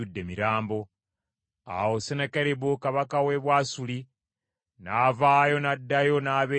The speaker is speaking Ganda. Awo Sennakeribu kabaka w’e Bwasuli n’avaayo n’addayo n’abeera e Nineeve.